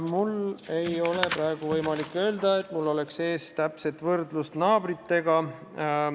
Mul ei ole praegu võimalik öelda, et mul on ees täpne võrdlus naabritega.